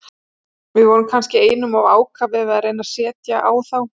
Við vorum kannski einum of ákafir við að reyna að setja á þá.